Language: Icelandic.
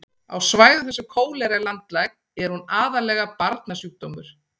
á svæðum þar sem kólera er landlæg er hún aðallega barnasjúkdómur